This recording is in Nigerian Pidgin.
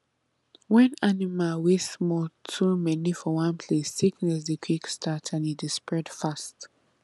when animal wey small too many for one place sickness dey quick start and e dey spread fast